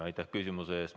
Aitäh küsimuse eest!